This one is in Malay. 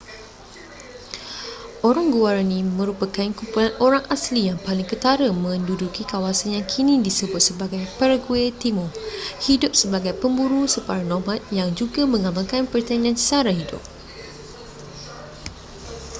orang guaraní merupakan kumpulan orang asli yang paling ketara menduduki kawasan yang kini disebut sebagai paraguay timur hidup sebagai pemburu separa nomad yang juga mengamalkan pertanian sara hidup